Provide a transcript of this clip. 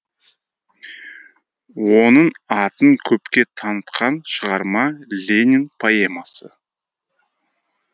оның атын көпке танытқан шығарма ленин поэмасы